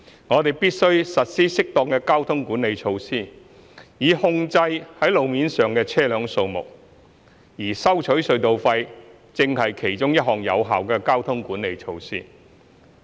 我們必須實施適當的交通管理措施，以控制路面上的車輛數目，而收取隧道費正是其中一項有效的交通管理措施。